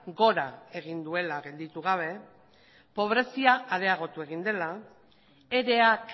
gora egin duela gelditu gabe pobrezia areagotu egin dela ere ak